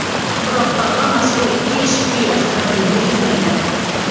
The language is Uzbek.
Biroq papa mazkur ikki eshikli avtomobilda yurmaydi.